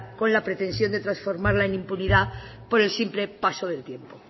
con la pretensión de transformarla en impunidad por el simple paso del tiempo